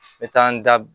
N bɛ taa n da